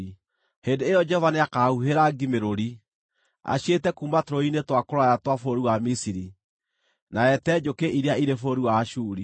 Hĩndĩ ĩyo Jehova nĩakahuuhĩra ngi mĩrũri, aciĩte kuuma tũrũũĩ-inĩ twa kũraya twa bũrũri wa Misiri, na eete njũkĩ iria irĩ bũrũri wa Ashuri.